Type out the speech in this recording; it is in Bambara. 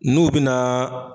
N'u bi naa